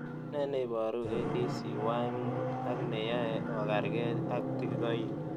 Ne neiporu ADCY5 ak ne yae o karkei ak tikikoik